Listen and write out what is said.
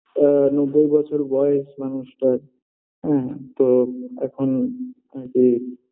আ নব্বই বছর বয়স মানুষটার হ্যাঁ তো এখন আরকি